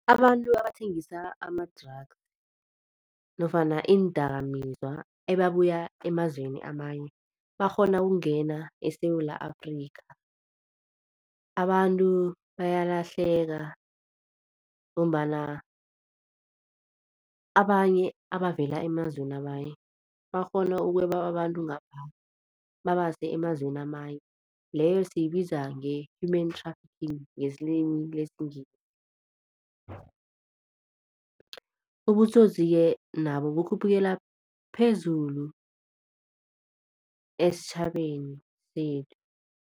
Abantu abathengisa ama-drugs nofana iindakamizwa ebabuya emazweni amanye bakghona ukungena eSewula Afrikha. Abantu bayalahleka ngombana abanye abavela emazweni amanye bakghona ukweba abantu ngapha babase emazweni amanye leyo siyibiza nge-human trafficking ngelimi lesiNgisi. Ubutsotsi-ke nabo bukhuphukela phezulu esitjhabeni sethu.